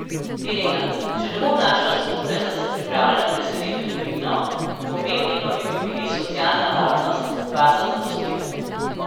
Irena: 'Če ne bom našla službe, sem se pripravljena preseliti v tujino, pomembni pa bi mi bili socialna varnost, varnost zaposlitve.